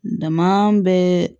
Daa bɛ